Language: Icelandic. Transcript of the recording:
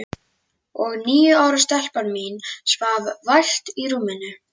Og níu ára stelpan mín svaf vært í rúminu.